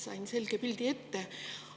Sain selge pildi ette.